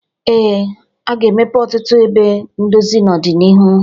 Ee, a ga-emepe ọtụtụ ebe ndozi n'ọdịnihu.